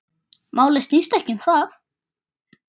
Málið snýst ekki um það.